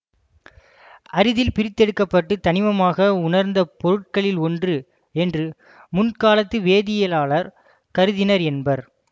அரிதில் பிரித்தெடுக்கப்பட்டு தனிமமாக உணர்ந்த பொருட்களில் ஒன்று என்று முன்காலத்து வேதியியலாலர் கருதினர் என்பர்